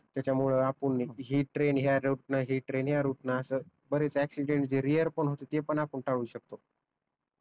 त्याच्यामुळ आपण हि ट्रेन या रूट न अस बरेच याक्शिदेंट जे रेअर पण होत ते पण आपण टाळू शकतो